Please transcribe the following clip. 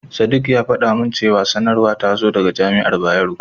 Sadik ya faɗa min cewa sanarwar ta zo daga Jami'ar Bayero.